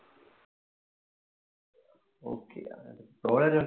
okay